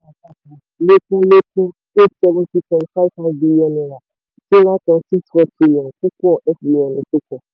àpapọ̀ lékún lékún eight seventy point five five billion naira sí nine point six four trillion púpọ̀ fbn ìsopọ̀.